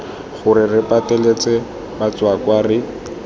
gore re pateletse batswakwa re